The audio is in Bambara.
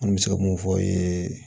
An bɛ se ka mun fɔ ye